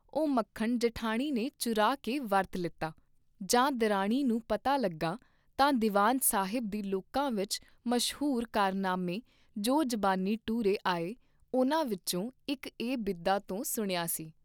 ਉਹ ਮੱਖਣ ਜਿਠਾਣੀ ਨੇ ਚੁਰਾ ਕੇ ਵਰਤ ਲੀਤਾ, ਜਾਂ ਦਿਰਾਣੀ ਨੂੰ ਪਤਾ ਲੱਗਾ ਤਾਂ ਦੀਵਾਨ ਸਾਹਿਬ ਦੇ ਲੋਕਾਂ ਵਿਚ ਮਸ਼ਹੂਰ ਕਾਰਨਾਮੇ ਜੋ ਜਬਾਨੀ ਟੁਰੇ ਆਏ ਉਨ੍ਹਾਂ ਵਿਚੋਂ ਇਕ ਇਹ ਬਿਧਾਂ ਤੋਂ ਸੁਣਿਆ ਸੀ।